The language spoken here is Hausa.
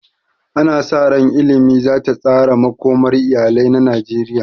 Ana sa ran damar ilimi za ta tsara makomar iyalai na Najeriya.